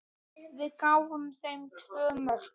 Við gáfum þeim tvö mörk.